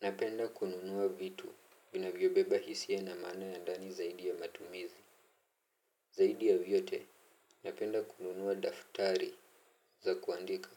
Napenda kununua vitu vinavyobeba hisia na mana ya ndani zaidi ya matumizi. Zaidi ya vyote, napenda kununua daftari za kuandika.